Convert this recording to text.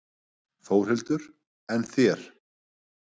Þórhildur: En þér?